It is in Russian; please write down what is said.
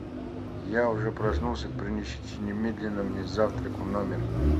я уже проснулся принесите немедленно мне завтрак в номер